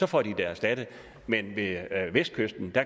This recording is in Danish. får de det erstattet men ved vestkysten